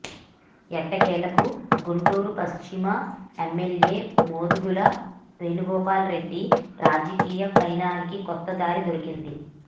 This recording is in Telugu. ఎట్టకేలకు గుంటూరు పశ్చిమ ఎమ్మెల్యే మోదుగుల వేణుగోపాల్ రెడ్డి రాజకీయ పయనానికి కొత్త దారి దొరికింది